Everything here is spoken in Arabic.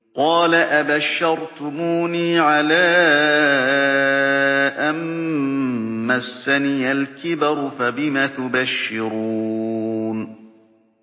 قَالَ أَبَشَّرْتُمُونِي عَلَىٰ أَن مَّسَّنِيَ الْكِبَرُ فَبِمَ تُبَشِّرُونَ